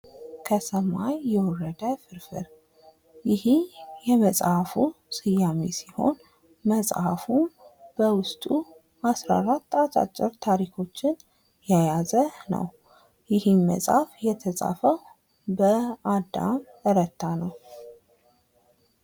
ከሰማይ የወረደ ፍርፍር ይሄ የመጽሃፉ ስያሜ ሲሆን መጽሃፉ በዉስጥ 14 አጫጭር ታሪኮችን የያዘ ነው። ይህም መጽሃፍ የተጻፈው በአዳም ረታ ነው።